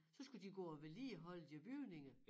Så skulle de gå og vedligeholde de her bygninger